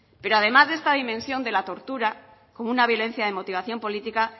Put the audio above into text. pero además de esta dimensión de la tortura como una violencia de motivación política